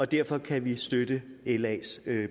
derfor kan vi støtte las